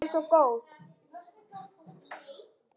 Hún er svo góð.